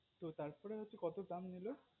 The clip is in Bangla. তার পর হচ্ছে কত দাম নিলো